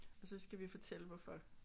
Og så skal vi fortælle hvorfor